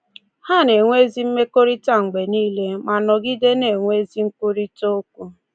Ha na-enwe ezi mmekọrịta mgbe nile ma nọgide na-enwe ezi nkwurịta okwu.